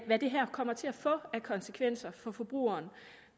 hvad det her kommer til at få af konsekvenser for forbrugeren